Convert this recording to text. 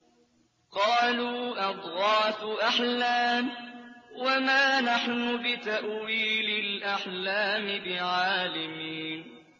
قَالُوا أَضْغَاثُ أَحْلَامٍ ۖ وَمَا نَحْنُ بِتَأْوِيلِ الْأَحْلَامِ بِعَالِمِينَ